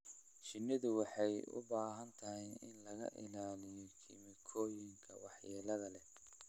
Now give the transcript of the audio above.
Shinnidu waxay u baahan tahay in laga ilaaliyo kiimikooyinka waxyeelada leh.